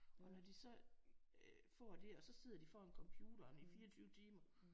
Og når de så øh får det og så sidder de foran computeren i 24 timer